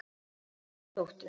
Hann á eina dóttur.